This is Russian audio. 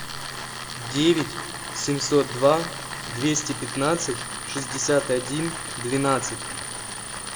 девять семьсот два двести пятнадцать шестьдесят один двенадцать